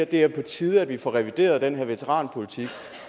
det er på tide at vi får revideret den her veteranpolitik